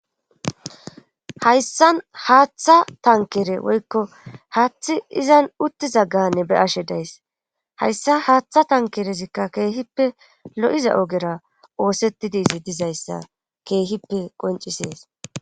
hayssan haaththa tankere woykko haathi izan uttiza ganne be'ashe days hayssa haaththa tankerezikka keehippe lo7iza ogera oosettid izi dizayssa keehippe qoncisees